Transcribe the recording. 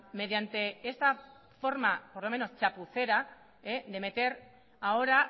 mediante esta forma por lo menos chapucera de meter ahora